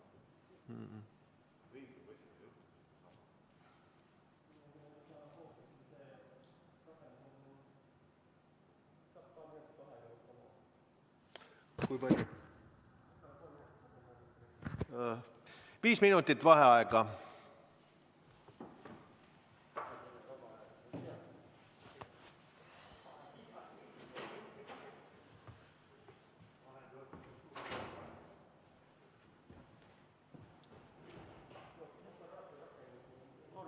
Viis minutit vaheaega.